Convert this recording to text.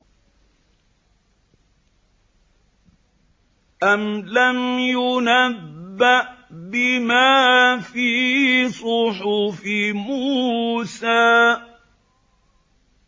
أَمْ لَمْ يُنَبَّأْ بِمَا فِي صُحُفِ مُوسَىٰ